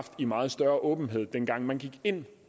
i meget større åbenhed dengang man gik ind